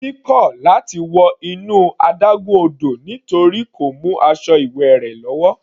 Titi kò láti wọ inú adágún odò nítorí kò mú aṣọ ìwẹ̀ rẹ̀ wá.